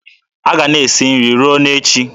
A ga-ana esi nri ruo na echi.